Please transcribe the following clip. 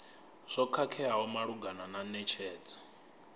zwo khakheaho malugana na netshedzo